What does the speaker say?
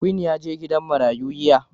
Queen ya je gidan marayun yiya.